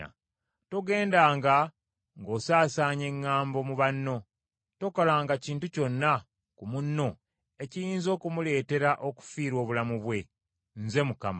“Togendanga ng’osaasaanya eŋŋambo mu banno. “Tokolanga kintu kyonna ku munno ekiyinza okumuleetera okufiirwa obulamu bwe. Nze Mukama .